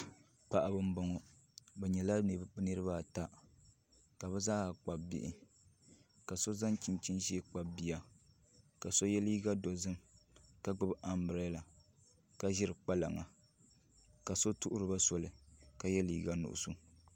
Paɣaba n boŋo bi nyɛla niraba ata ka bi zaaha kpabi bihi ka so zaŋ chinchin ʒiɛ kpabi bia ka so yɛ liiga dozim ka gbubi anbirɛla ka ʒiri kpalaŋa ka so kpabi bia ka yɛ liiga nuɣso